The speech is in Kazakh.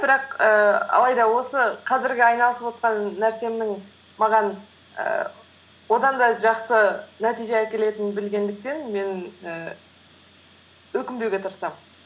бірақ ііі алайда осы қазіргі айналысывотқан нәрсемнің маған ііі одан да жақсы нәтиже әкетелінін білгендіктен мен і өкінбеуге тырысамын